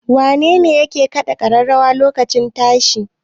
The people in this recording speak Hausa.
Wanene mai kaɗa ƙararrawar lokacin tashi?